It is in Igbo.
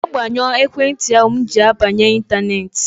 Mee gbanyụọ ekwentị ahụ m ji abanye ịntaneetị!